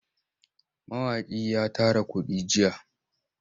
Mawaƙin ya tara kuɗi jiya.